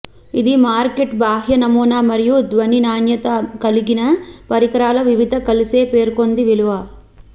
ఇది మార్కెట్ బాహ్య నమూనా మరియు ధ్వని నాణ్యత కలిగిన పరికరాల వివిధ కలిసే పేర్కొంది విలువ